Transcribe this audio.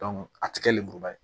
a ti kɛ lenburuba ye